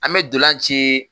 An bɛ dolan ci